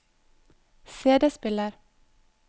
CD-spiller